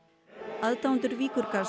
aðdáendur